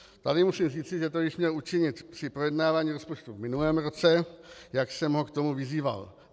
Tady musím říci, že to již měl učinit při projednávání rozpočtu v minulém roce, jak jsem ho k tomu vyzýval.